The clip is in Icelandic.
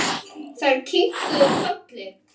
Þær kinkuðu kolli.